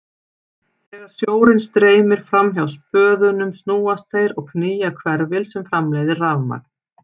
Þegar sjórinn streymir fram hjá spöðunum snúast þeir og knýja hverfil sem framleiðir rafmagn.